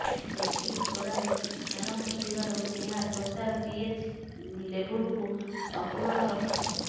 baking ସୋଡାରେ ଖାର ଅଂଶ ଥିବାରୁ ଏହା ତ୍ୱଚାର ପିଏଚ୍ ଲେବୁଲକୁ ସନ୍ତୁଳନ ରଖିଥାଏ